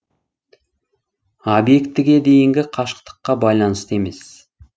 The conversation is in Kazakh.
объектіге дейінгі қашықтыққа байланысты емес